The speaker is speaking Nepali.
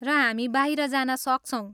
र हामी बाहिर जान सक्छौँ।